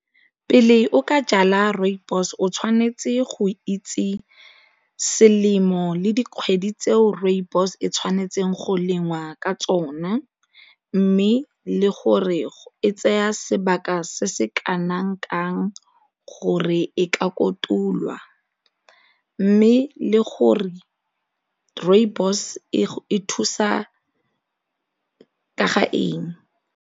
Pele o ka jala rooibos o tshwanetse go itse selemo le dikgwedi tseo rooibos e tshwanetseng go lengwa ka tsona mme le gore e tseya sebaka se se kanang kang gore e ka kotulwa mme le gore rooibos e thusa ka ga eng.